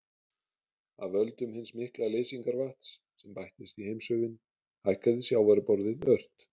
Af völdum hins mikla leysingarvatns, sem bættist í heimshöfin, hækkaði sjávarborðið ört.